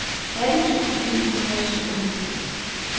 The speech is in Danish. atten tusind ni hundrede og syvoghalvtreds